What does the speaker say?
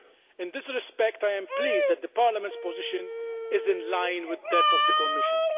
In this respect, I am pleased that Parliament's position is in line with that of the Commission.